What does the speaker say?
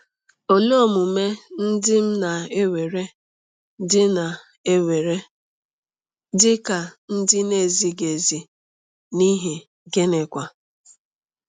Olee omume ndị m na-ewere dị na-ewere dị ka ndị na-ezighị ezi, n’ihi gịnịkwa?